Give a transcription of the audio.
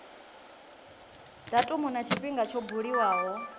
datumu na tshifhinga tsho buliwaho